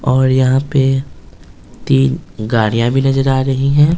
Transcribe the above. और यहां पे तीन गाड़ियां भी नजर आ रही हैं ।